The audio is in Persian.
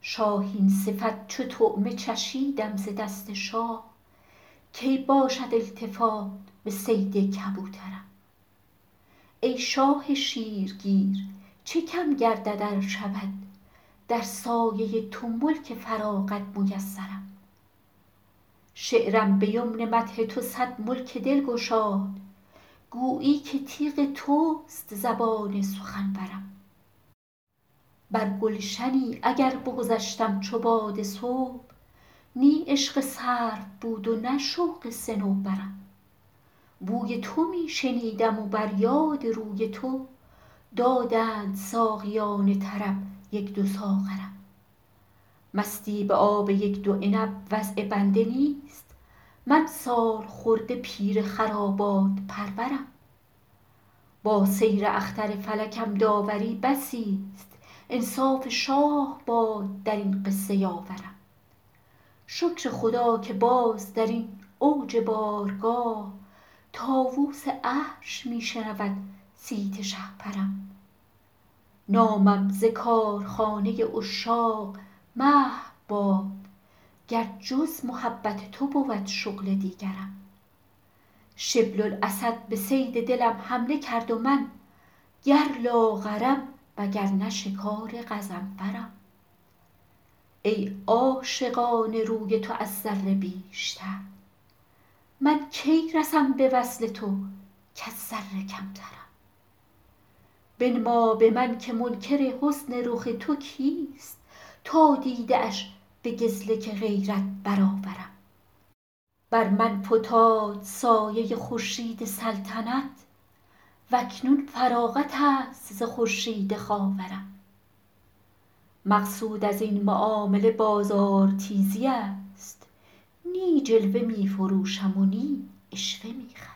شاهین صفت چو طعمه چشیدم ز دست شاه کی باشد التفات به صید کبوترم ای شاه شیرگیر چه کم گردد ار شود در سایه تو ملک فراغت میسرم شعرم به یمن مدح تو صد ملک دل گشاد گویی که تیغ توست زبان سخنورم بر گلشنی اگر بگذشتم چو باد صبح نی عشق سرو بود و نه شوق صنوبرم بوی تو می شنیدم و بر یاد روی تو دادند ساقیان طرب یک دو ساغرم مستی به آب یک دو عنب وضع بنده نیست من سالخورده پیر خرابات پرورم با سیر اختر فلکم داوری بسیست انصاف شاه باد در این قصه یاورم شکر خدا که باز در این اوج بارگاه طاووس عرش می شنود صیت شهپرم نامم ز کارخانه عشاق محو باد گر جز محبت تو بود شغل دیگرم شبل الاسد به صید دلم حمله کرد و من گر لاغرم وگرنه شکار غضنفرم ای عاشقان روی تو از ذره بیشتر من کی رسم به وصل تو کز ذره کمترم بنما به من که منکر حسن رخ تو کیست تا دیده اش به گزلک غیرت برآورم بر من فتاد سایه خورشید سلطنت و اکنون فراغت است ز خورشید خاورم مقصود از این معامله بازارتیزی است نی جلوه می فروشم و نی عشوه می خرم